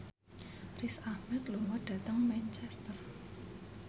Riz Ahmed lunga dhateng Manchester